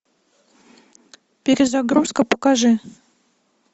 перезагрузка покажи